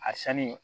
A sanni